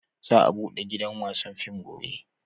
Za a bude gidan wasan fim gobe